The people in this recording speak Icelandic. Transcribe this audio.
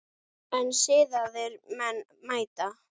En siðaðir menn mæta.